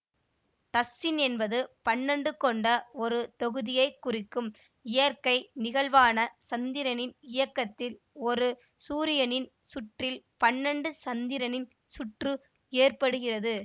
dozen என்பது பன்னெண்டு கொண்ட ஒரு தொகுதியை குறிக்கும் இயற்கை நிகழ்வான சந்திரனின் இயக்கத்தில் ஒரு சூரியனின் சுற்றில் பன்னெண்டு சந்திரனின் சுற்று ஏற்படுகிறது